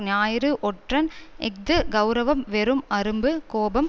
ஞாயிறு ஒற்றன் இஃது கெளரவம் வெறும் அரும்பு கோபம்